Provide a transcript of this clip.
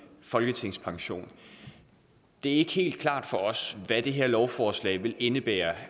folketingspension det er ikke helt klart for os hvad det her lovforslag vil indebære